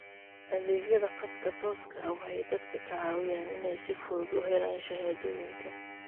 Adeegyada khadka tooska ah waxay dadka ka caawiyaan inay si fudud u helaan shahaadooyinka.